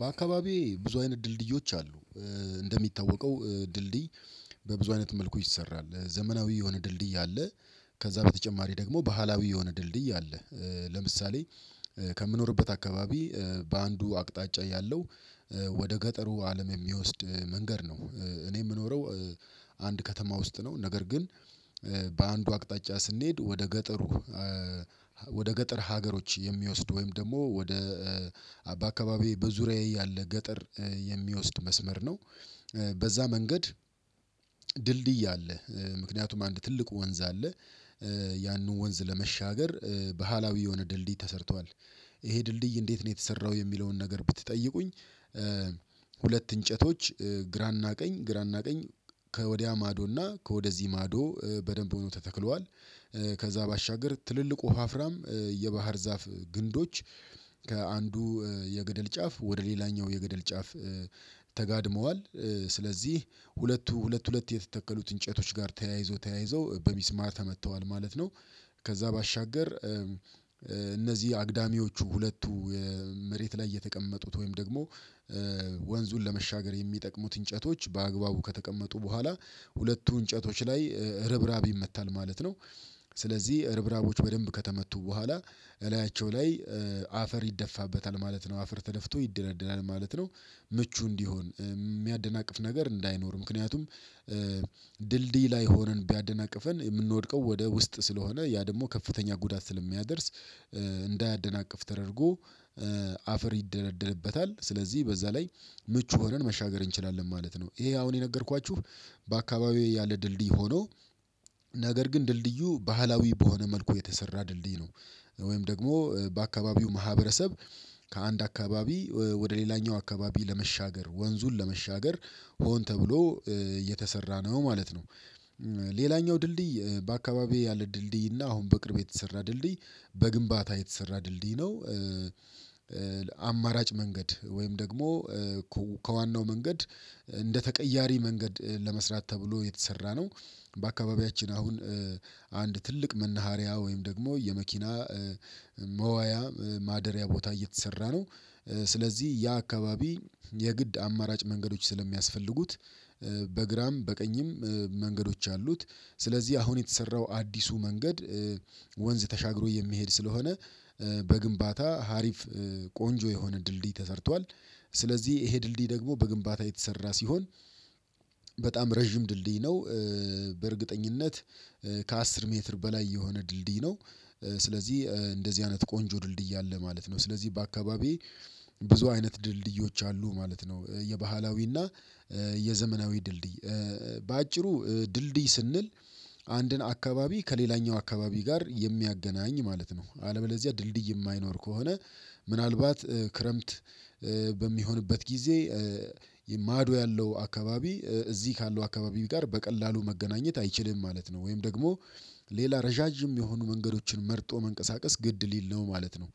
በአካባቢዬ ብዙ አይነት ድልድዮች አሉ። እንደሚታወቀው ድልድይ በብዙ አይነት መልኩ ይሰራል ዘመናዊ የሆነ ድልድይ አለ። ከዛ በተጨማሪ ደግሞ ባህላዊ የሆነ ድልድይ አለ። ለምሳሌ ከምኖርበት አካባቢ በአንዱ አቅጣጫ ያለው ወደ ገጠሩ አለም የሚወስድ መንገድ ነው እኔ የምኖረው አንድ ከተማ ውስጥ ነው። ነገር ግን በአንዱ አቅጣጫ ስንሄድ ወደ ገጠሩ ወደ ገጠር ሀገሮች የሚወስድ ወይም ደግሞ ወደ አባ አካባቢ በዙሪያዬ ያለ ገጠር የሚወስድ መስመር ነው። በዛ መንገድ ድልድይ አለ ምክንያቱም አንድ ትልቁ ወንዝ አለ ያንን ወንዝ ለመሻገር ባህላዊ የሆነ ድልድይ ተሰርቷል። ይሄ ድልድይ እንዴት ነው የተሰራው የሚለውን ነገር ብትጠይቁኝ? ሁለት እንጨቶች ግራና ቀኝ ግራና ቀኝ ከወዲያ ማዶና ከወደዚህ ማዶ በደንብ ሆኖ ተተክለዋል። ከዛ ባሻገር ትልልቁ ወፋፍራም የባህር ዛፍ ግንዶች ከአንዱ የገደል ጫፍ ወደ ሌላኛው የገደል ጫፍ። ተጋድመዋል ስለዚህ ሁለቱ ሁለት ሁለት የተተከሉት እንጨቶች ጋር ተያይዞ ተያይዞ በሚስማር ተመተዋል ማለት ነው። ከዛ ባሻገር እነዚህ አግዳሚዎቹ ሁለቱ መሬት ላይ የተቀመጡት ወይም ደግሞ ወንዙን ለመሻገር የሚጠቅሙት እንጨቶች በአግባቡ ከተቀመጡ በኋላ ሁለቱ እንጨቶች ላይ ርብራብ ይመታል ማለት ነው። ስለዚህ እርብራቦች በደንብ ከተመቱ በኋላ እላያቸው ላይ አፈር ይደፋበታል ማለት ነው አፈር ተደፍቶ ይደለደላል ማለት ነው። ምቹ እንዲሆን የሚያደናቅፍ ነገር እንዳይኖር ምክንያቱም ድልድይ ላይ ሆነን ቢያደናቅፈን የምንወድቀው ወደ ውስጥ ስለሆነ ያ ደግሞ ከፍተኛ ጉዳት ስለሚያደርስ እንዳያደናቅፍ ተደርጎ አፈር ይደረደርበታል ስለዚህ በዛ ላይ ምቹ ሆነን መሻገር እንችላለን ማለት ነው። ይሄ አሁን የነገርኳችሁ በአካባቢው ያለ ድልድይ ሆኖ ነገር ግን ድልድዩ ባህላዊ በሆነ መልኩ የተሰራ ድልድይ ነው። ወይም ደግሞ በአካባቢው ማህበረሰብ ከአንድ አካባቢ ወደ ሌላኛው አካባቢ ለመሻገር ወንዙን ለመሻገር ሆን ተብሎ እየተሰራ ነው ማለት ነው። ሌላኛው ድልድይ በአካባቢው ያለ ድልድይ እና አሁን በቅርብ የተሰራ ድልድይ በግንባታ የተሰራ ድልድይ ነው። አማራጭ መንገድ ወይም ደግሞ ከዋናው መንገድ እንደ ተቀያሪ መንገድ ለመስራት ተብሎ የተሰራ ነው። በአካባቢያችን አሁን አንድ ትልቅ መናሃሪያ ወይም ደግሞ የመኪና መዋያ ማደሪያ ቦታ እየተሰራ ነው። ስለዚህ ያ አካባቢ የግድ አማራጭ መንገዶች ስለሚያስፈልጉት በግራም በቀኝም መንገዶች አሉት። ስለዚህ አሁን የተሰራው አዲሱ መንገድ ወንዝ ተሻግሮ የሚሄድ ስለሆነ በግንባታ ሀሪፍ ቆንጆ የሆነ ድልድይ ተሰርቷል። ስለዚህ ይሄ ድልድይ ደግሞ በግንባታ የተሰራ ሲሆን በጣም ረዥም ድልድይ ነው በእርግጠኝነት ከአስር ሜትር በላይ የሆነ ድልድይ ነው። ስለዚህ እንደዚህ አይነት ቆንጆ ድልድይ አለ ማለት ነው። ስለዚህ በአካባቢዬ ብዙ አይነት ድልድዮች አሉ ማለት ነው። የባህላዊና የዘመናዊ ድልድይ በአጭሩ ድልድይ ስንል አንድን አካባቢ ከሌላኛው አካባቢ ጋር የሚያገናኝ ማለት ነው። አለበለዚያ ድልድይ የማይኖር ከሆነ ምናልባት ክረምት በሚሆንበት ጊዜ ማዶ ያለው አካባቢ እዚህ ካለው አካባቢ ጋር በቀላሉ መገናኘት አይችልም ማለት ነው። ወይም ደግሞ ሌላ ረዣዥም የሆኑ መንገዶችን መርጦ መንቀሳቀስ ግድ ሊል ነው ማለት ነው።